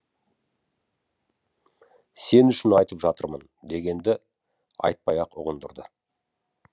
сен үшін айтып жатырмын дегенді айтпай ақ ұғындырды